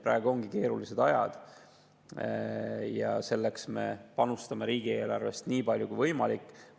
Praegu ongi keerulised ajad ja seetõttu me panustame riigieelarvest nii palju kui võimalik.